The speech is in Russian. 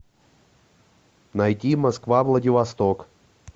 найти москва владивосток